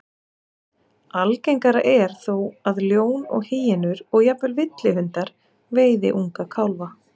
Algengara er þó að ljón og hýenur, og jafnvel villihundar, veiði unga kálfa.